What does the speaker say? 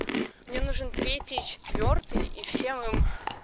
мне нужен третий и четвёртый и всем им